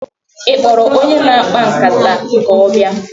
Ị kpọrọ onye na-akpa nkata ka ọ bịa?